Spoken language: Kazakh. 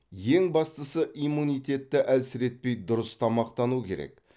ең бастысы иммунитетті әлсіретпей дұрыс тамақтану керек